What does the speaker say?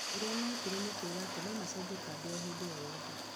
Ũrĩa meekire nĩ kuuga atĩ no macenjie kambĩ o hĩndĩ o yothe.